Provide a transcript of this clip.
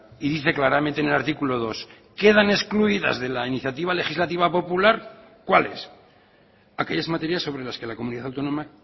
y dice claramente en el artículo dos quedan excluidas de la iniciativa legislativa popular cuáles aquellas materias sobre las que la comunidad autónoma